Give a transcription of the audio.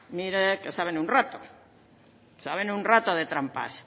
mire que saben un rato y saben un rato de trampas